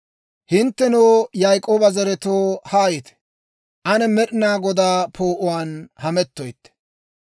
Hinttenoo, Yaak'ooba zaretoo, haayite! Ane Med'inaa Godaa poo'uwaan hamettoytte.